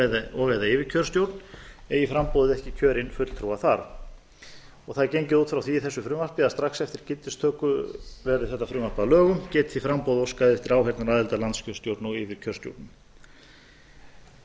og eða yfirkjörstjórn eigi framboðið ekki kjörinn fulltrúa þar það er gengið út frá því í þessu frumvarpi að strax eftir gildistöku verði þetta frumvarp að lögum geti framboð óskað eftir áheyrnaraðild að landskjörstjórn og yfirkjörstjórnum það er